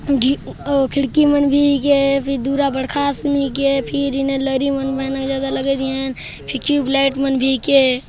खिड़की बन भी गे दूरा बडखास घास उगे फिर इने लारियु मन अलग ही ह फिर टयूब लाईट मन भी के--